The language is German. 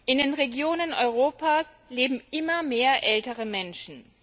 In den Regionen Europas leben immer mehr ältere Menschen.